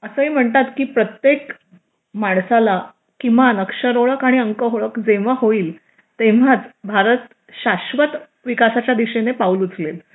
असेही म्हणतात की प्रत्येक माणसाला किमान अक्षर ओळख आणि अंक ओळख जेव्हा होईल तेव्हाच भारत शाश्वत विकासाच्या दिशेने पाऊल उचलेल